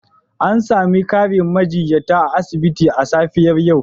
An sami ƙarin majiyyata a asibiti a safiyar yau.